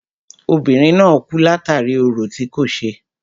Obìnrin náà kú látàri orò tí kò ṣe.